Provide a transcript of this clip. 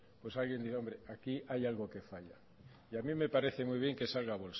pues alguien dirá hombre aquí hay algo que falla y a mí me parece muy bien que salga